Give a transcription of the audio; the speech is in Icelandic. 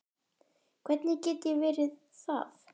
Hvernig get ég verið það?